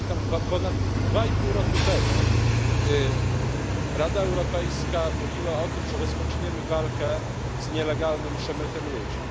Ja pamiętam, że ponad dwa i pół roku temu Rada Europejska mówiła o tym, że rozpoczniemy walkę z nielegalnym przemytem ludzi.